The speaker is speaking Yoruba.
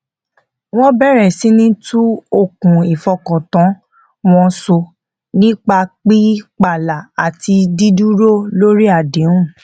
wọn bẹrẹ síní tún okùn ìfọkàntán wọn so nípa pí pààlà àti dí dúró lórí àdéhùn